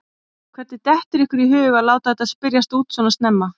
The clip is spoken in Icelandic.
Hvernig dettur ykkur í hug að láta þetta spyrjast út svona snemma?